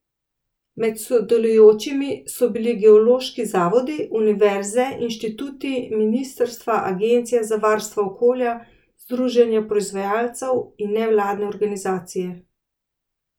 Med sodelujočimi so bili geološki zavodi, univerze, inštituti, ministrstva, agencije za varstvo okolja, združenja proizvajalcev in nevladne organizacije.